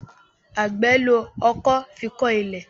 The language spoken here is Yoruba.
Àgbè ló ọkọ́ fí kò ilé.